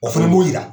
O fana b'o jira